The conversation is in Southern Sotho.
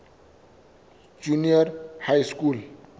junior high school